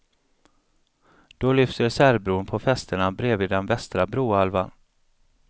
Då lyfts reservbron på fästena bredvid den västra brohalvan.